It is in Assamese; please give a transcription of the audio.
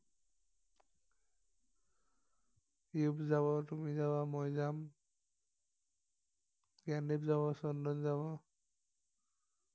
ইয়োগ যাব তুমি যাব মই যাম জ্ঞানদিপ যাব চন্দন যাব